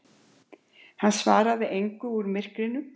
Hann svaraði engu úr myrkrinu.